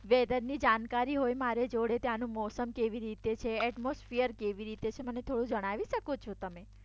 વેધરની જાણકારી હોય મારી જોડે. ત્યાંનું મોસમ કેવી રીતે છે એટમોસફીયર કેવી રીતે છે મને થોડું જણાવી શકો છો તમે